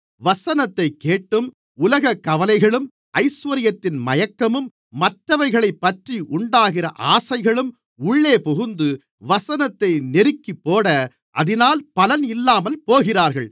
வசனத்தைக் கேட்டும் உலகக் கவலைகளும் ஐசுவரியத்தின் மயக்கமும் மற்றவைகளைப்பற்றி உண்டாகிற ஆசைகளும் உள்ளே புகுந்து வசனத்தை நெருக்கிப்போட அதினால் பலன் இல்லாமல் போகிறார்கள்